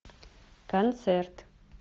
концерт